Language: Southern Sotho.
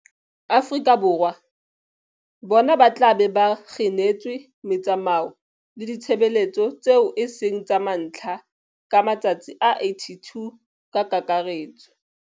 Afrika Borwa, bona ba tla be ba kginetswe metsamao le ditshebeletso tseo e seng tsa mantlha ka matsatsi a 82 ka kakaretso.